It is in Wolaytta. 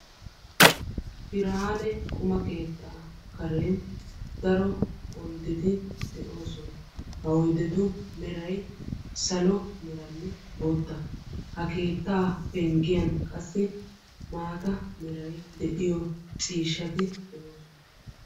Birane quma keetta karen daro oyddeti de"oosona. Ha oyddetu meray salo meranne bootta, ha keettaa penggiyaan qassi maata meray de'iyo ciishshati de'oosona.